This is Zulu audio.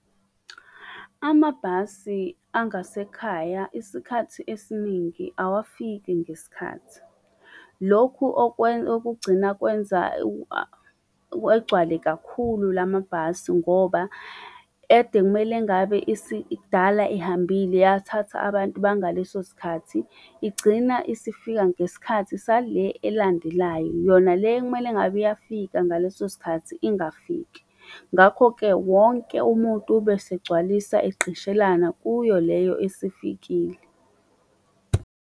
Amabhasi angasekhaya isikhathi esiningi awafiki ngesikhathi. Lokhu okugcina kwenza egcwale kakhulu lamabhasi ngoba ede kumele ngabe kdala ihambile, yathatha abantu bangalesosikhathi. Igcina isifika ngesikhathi sale elandelayo, yona le ekumele ngabiyafika ngalesosikhathi, ingafiki. Ngakho-ke wonke umuntu ubesegcwalisa egqishelana kuyo leyo esifikile.